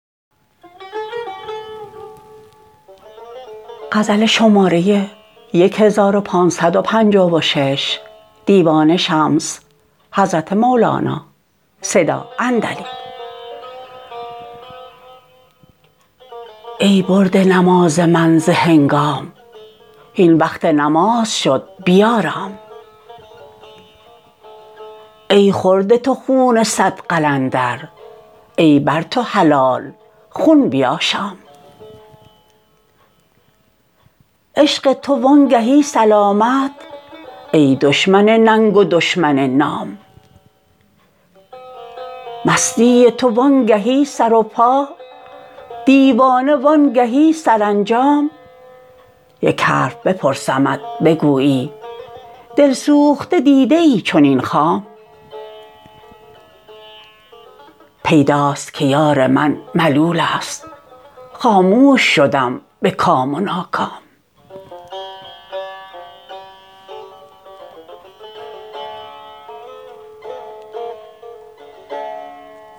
ای برده نماز من ز هنگام هین وقت نماز شد بیارام ای خورده تو خون صد قلندر ای بر تو حلال خون بیاشام عشق تو و آنگهی سلامت ای دشمن ننگ و دشمن نام مستی تو وانگهی سر و پا دیوانه وانگهی سرانجام یک حرف بپرسمت بگویی دلسوخته دیده چنین خام پیداست که یار من ملول است خاموش شدم به کام و ناکام